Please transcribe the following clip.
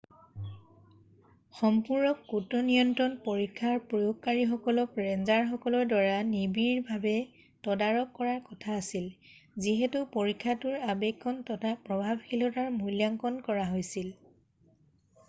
সম্পূৰক কীটনিয়ন্ত্ৰণ পৰীক্ষাৰ প্ৰয়োগকাৰীসকলক ৰেঞ্জাৰসকলৰ দ্বাৰা নিবিড়ভাবে তদাৰক কৰাৰ কথা আছিল যিহেতু পৰীক্ষাটোৰ আবেক্ষণ তথা প্ৰভাৱশীলতাৰ মূল্যাংকণ কৰা হৈছিল